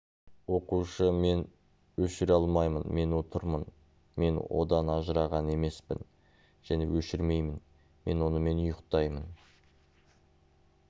оқушы мен өшіре алмаймын мен отырмын мен одан ажыраған емеспін және өшірмеймін мен онымен ұйықтаймын